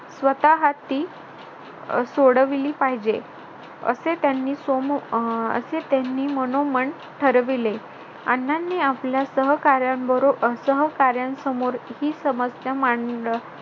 स्वतः ती अह सोडविली पाहिजे. असे त्यांनी अह मनोमन ठरविले अण्णांनी आपल्या सहकाऱ्यांबरोबर अह सहकाऱ्यांसमोर ही समस्या मांड